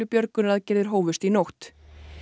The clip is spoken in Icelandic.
björgunaraðgerðir hófust í nótt